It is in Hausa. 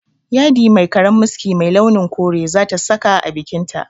Yadi mai karen miski mai launin kore za ta saka a bikinta